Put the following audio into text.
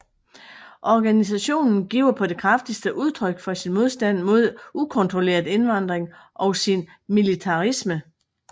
Organisationen giver på det kraftigste udtryk for sin modstand mod ukontrolleret indvandring og sin militarisme